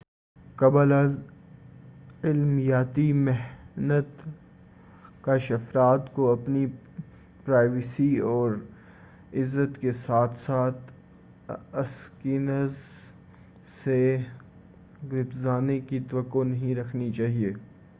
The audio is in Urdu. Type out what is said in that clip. قبل ازعملیاتی مخنث افراد کو اپنی پرائیویسی اور عزت کے ساتھ اسکینرز سے گپزرنے کی توقع نہیں رکھنی چاہیے